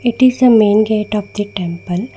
it is a main gate of the temple.